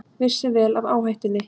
Vissu vel af áhættunni